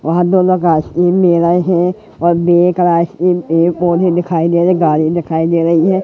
वहां दोनों का असली और पेड़ पौधे दिखाई दे रहे गाड़ी दिखाई दे रही है।